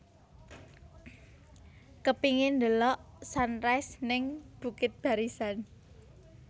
Kepingin ndelok sunrise ning Bukit Barisan